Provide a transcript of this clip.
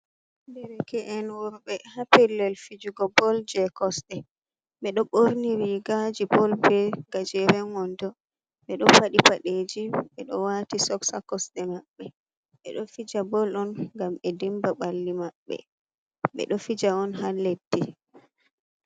Derke’en worbe ha pellel fijugo bol je kosɗe. Ɓe ɗo ɓorni rigaji bol, be gajeren wando, ɓe ɗo faɗi paɗeji, ɓe ɗo wati soks ha kosɗe maɓɓe. Ɓe ɗo fija bol on gam ɓe dimba ɓalli mabbe, ɓe ɗo fija on ha leddi.